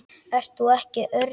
Ert þú ekki Örn?